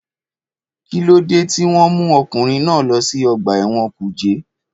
Kíló dé tí wọ́n mú ọkùnrin náà lọ sí ọgbà ẹ̀wọ̀n kùjé?